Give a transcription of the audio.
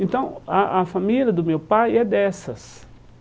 Então, a a família do meu pai é dessas.